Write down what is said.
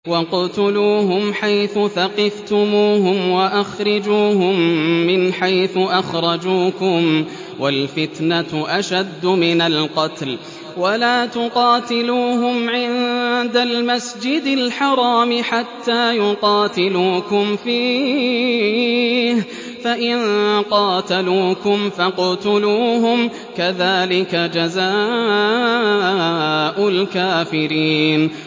وَاقْتُلُوهُمْ حَيْثُ ثَقِفْتُمُوهُمْ وَأَخْرِجُوهُم مِّنْ حَيْثُ أَخْرَجُوكُمْ ۚ وَالْفِتْنَةُ أَشَدُّ مِنَ الْقَتْلِ ۚ وَلَا تُقَاتِلُوهُمْ عِندَ الْمَسْجِدِ الْحَرَامِ حَتَّىٰ يُقَاتِلُوكُمْ فِيهِ ۖ فَإِن قَاتَلُوكُمْ فَاقْتُلُوهُمْ ۗ كَذَٰلِكَ جَزَاءُ الْكَافِرِينَ